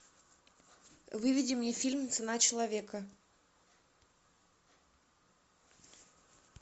выведи мне фильм цена человека